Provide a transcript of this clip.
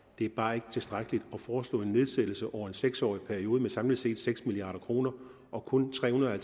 det er bare ikke tilstrækkeligt at foreslå en nedsættelse over en seks årig periode med samlet set seks milliard kroner og kun tre hundrede og